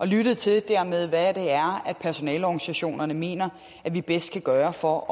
lyttet til hvad personaleorganisationerne mener vi bedst kan gøre for at